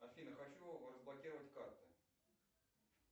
афина хочу разблокировать карты